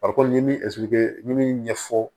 Farikolo n ye min ɲɛfɔ